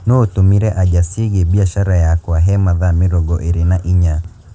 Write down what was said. Nũ ũtũmĩre anja cĩigĩe mbĩacara yakwa he mathaa mĩrongo ĩrĩ na ĩnya